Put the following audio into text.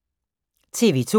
TV 2